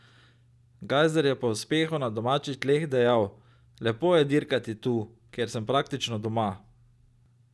Gajser je po uspehu na domačih tleh dejal: "Lepo je dirkati tu, kjer sem praktično doma.